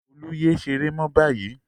Olú yé ṣeré mọ́ báyìí!